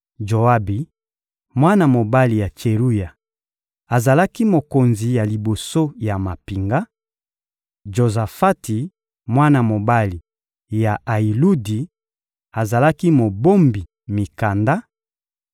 Joabi, mwana mobali ya Tseruya, azalaki mokonzi ya liboso ya mampinga; Jozafati, mwana mobali ya Ayiludi, azalaki mobombi mikanda;